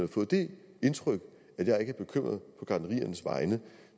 fået det indtryk at jeg ikke er bekymret på gartneriernes vegne